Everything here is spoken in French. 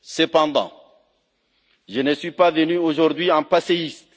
Cependant, je ne suis pas venu aujourd'hui, en passéiste,